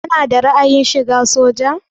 Kana da ra'ayin shiga soja?